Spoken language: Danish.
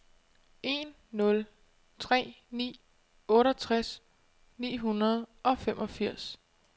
en nul tre ni otteogtres ni hundrede og femogfirs